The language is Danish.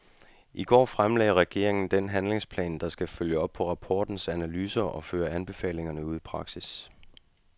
I går fremlagde regeringen den handlingsplan, der skal følge op på rapportens analyser og føre anbefalingerne ud i praksis.